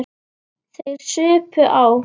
Þeir supu á.